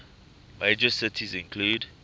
major cities include